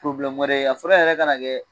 Probilɛmu wɛrɛ ye, a fura yɛrɛ ka na kɛ